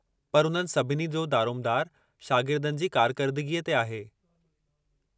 पर उन्हनि सभिनी जो दारोमदारु शागिर्दनि जी कारकरदगीअ ते आहे।